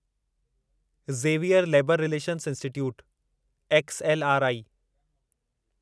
Xavier labour relations institute XLRI